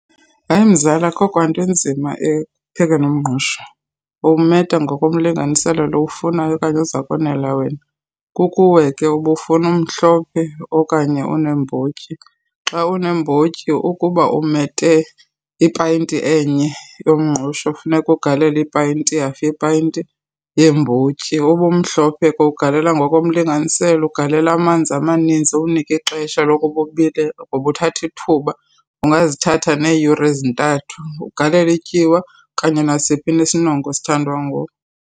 Hayi mzala, akukho nto inzima ekuphekeni umngqusho. Uwumeta ngokomlinganiselo lo uwufunayo okanye ozakonela wena. Kukuwe ke uba uwufuna umhlophe okanye uneembotyi. Xa uneembotyi, ukuba umete ipayinti enye yomngqusho funeka ugalela ipayinti, ihafu yepayinti yeembotyi. Uba umhlophe ke ugalela ngokomlinganiselo, ugalela amanzi amaninzi, uwunika ixesha lokuba ubile ngoba uthatha thuba. Ungazithatha neyure ezintathu. Ugalele ityiwa okanye nasiphi na isinongo esithandwa nguwe.